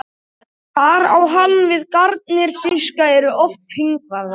Þar á hann við að garnir fiska eru oft hringvafðar.